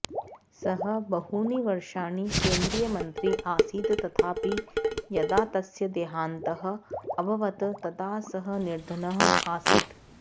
सः बहूनि वर्षाणि केंद्रीयमंत्री आसीत् तथापि यदा तस्य देहान्तः अभवत् तदा सः निर्धनः आसीत्